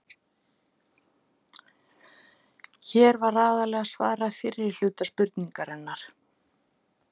Hér var aðallega svarað fyrri hluta spurningarinnar.